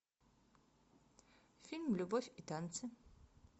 фильм любовь и танцы